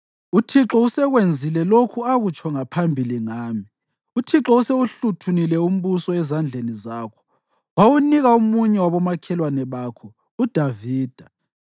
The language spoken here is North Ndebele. Uthixo usekwenzile lokhu akutsho ngaphambili ngami. Uthixo usewuhluthunile umbuso ezandleni zakho wawunika omunye wabomakhelwane bakho, uDavida.